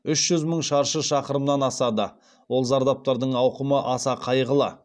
үш жүз мың шаршы шақырымнан асады ол зардаптардың ауқымы аса қайғылы